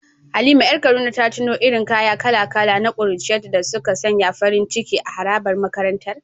Halima ‘yar Kaduna ta tuno irin kaya kala-kala na kuruciyarta da suka sanya farin ciki a harabar makarantar.